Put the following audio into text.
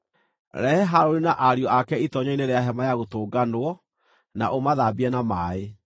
“Rehe Harũni na ariũ ake itoonyero-inĩ rĩa Hema-ya-Gũtũnganwo, na ũmathambie na maaĩ.